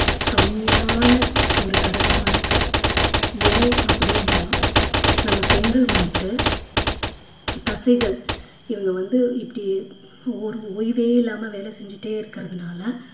கம்மியான ஒரு கடகமா இருக்கு ஏன் அப்படின்னா நம்ம பெண்கள் வந்துட்டு தசைகள் இவங்க வந்து இப்படி ஒரு~ ஓய்வே இல்லாம வேலை செஞ்சிட்டே இருக்கிறதுனால